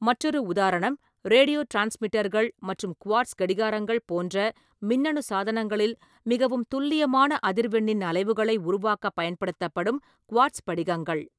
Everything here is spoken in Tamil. மற்றொரு உதாரணம், ரேடியோ டிரான்ஸ்மிட்டர்கள் மற்றும் குவார்ட்ஸ் கடிகாரங்கள் போன்ற மின்னணு சாதனங்களில் மிகவும் துல்லியமான அதிர்வெண்ணின் அலைவுகளை உருவாக்கப் பயன்படுத்தப்படும் குவார்ட்ஸ் படிகங்கள் .